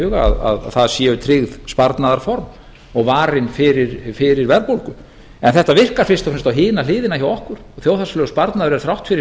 huga að það séu tryggð sparnaðarform og varin fyrir verðbólgu þetta virkar fyrst og fremst á hina hliðina hjá okkur og þjóðhagslegur sparnaður er þrátt fyrir